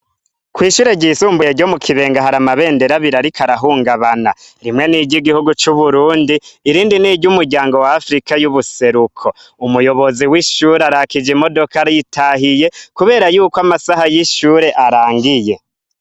Kw'ishure ryisumbuye ryo mu Kibenga hari amabendera abiri ariko arahungabana, rimwe n'igihugu c'Uburundi irindi n'iry'umuryango wa Afrika y'Ubuseruko. Umuyobozi w'ishure arakije imodoka aritahiye kubera yuko amasaha y'ishure arangiye.